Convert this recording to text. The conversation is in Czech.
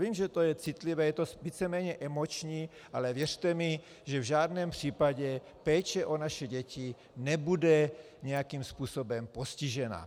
Vím, že je to citlivé, je to víceméně emoční, ale věřte mi, že v žádném případě péče o naše děti nebude nějakým způsobem postižena.